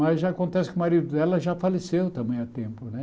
Mas já acontece que o marido dela já faleceu também há tempo, né?